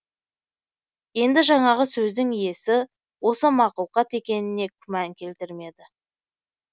енді жаңағы сөздің иесі осы мақұлқат екеніне күмән келтірмеді